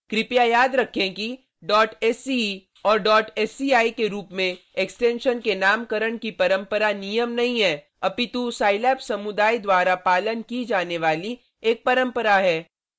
कृपया याद रखें कि sce and sci के रूप में एक्सटेंशन के नामकरण की परंपरा नियम नहीं हैं अपितु scilab समुदाय द्वारा पालन की जाने वाली एक परंपरा है